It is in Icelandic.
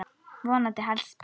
Vonandi helst spáin.